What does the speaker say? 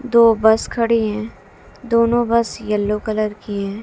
दो बस खड़ी हैं दोनों बस येलो कलर की हैं।